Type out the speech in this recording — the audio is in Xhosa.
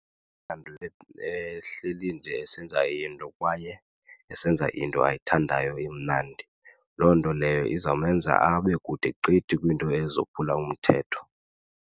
ehleli nje esenza into kwaye esenza into ayithandayo emnandi. Loo nto leyo izawumenza abe kude gqithi kwinto ezophila umthetho.